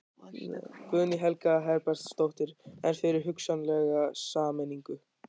Guðný Helga Herbertsdóttir: En fyrir hugsanlega sameiningu?